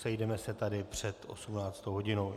Sejdeme se tady před 18. hodinou.